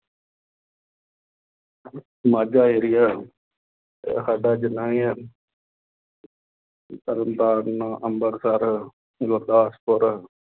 Majha area ਸਾਡਾ ਜਿੰਨ੍ਹਾ ਇਹ ਹੈ ਤਰਨਤਾਰਨ ਅੰਮ੍ਰਿਤਸਾਰ, ਗੁਰਦਾਸਪੁਰ